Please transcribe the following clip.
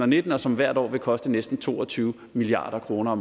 nitten og som hvert år vil koste næsten to og tyve milliard kroner